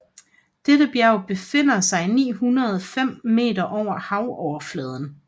Dette bjerg befinder sig 905 meter over havoverfladen